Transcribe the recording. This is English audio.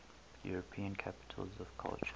european capitals of culture